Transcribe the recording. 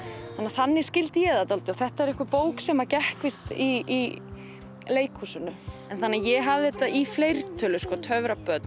þannig skildi ég það þetta var bók sem gekk í leikhúsinu þannig að ég hafði þetta í fleirtölu